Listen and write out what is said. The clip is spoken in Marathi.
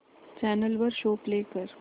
चॅनल वर शो प्ले कर